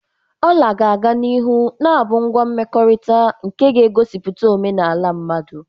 Ola ga-aga n'ihu na-abụ ngwa mmekọrịta nke ga-egosipụta omenala mmadụ.